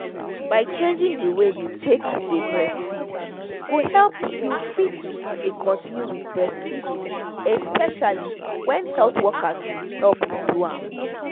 by changing the way you take dey breastfeed go help you fit dey continue with breastfeeding especially when health workers help you do am